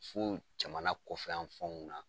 Fo jamana kɔfɛ yan fanw na .